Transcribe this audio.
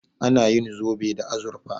Ana yin zobe da azurfa.